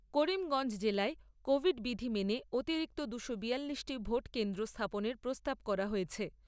করিমগঞ্জ জেলায় কোভিড বিধি মেনে অতিরিক্ত দুশো বিয়াল্লিশটি ভোট কেন্দ্র স্থাপনের প্রস্তাব করা হয়েছে।